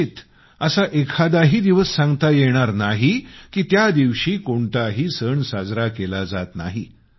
कदाचित असा एखादाही दिवस सांगता येणार नाही की त्या दिवशी कोणताही सण साजरा केला जात नाही